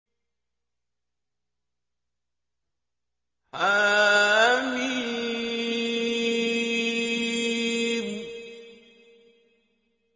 حم